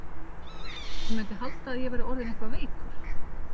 Hann mundi halda að ég væri orðinn eitthvað veikur.